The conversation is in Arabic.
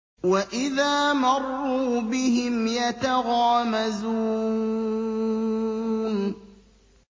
وَإِذَا مَرُّوا بِهِمْ يَتَغَامَزُونَ